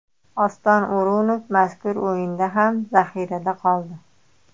Oston O‘runov mazkur o‘yinda ham zaxirada qoldi.